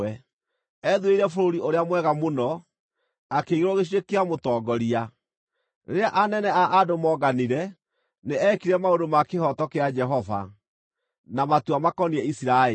Ethuurĩire bũrũri ũrĩa mwega mũno; akĩigĩrwo gĩcunjĩ kĩa mũtongoria. Rĩrĩa anene a andũ moonganire, nĩ eekire maũndũ ma kĩhooto kĩa Jehova, na matua makoniĩ Isiraeli.”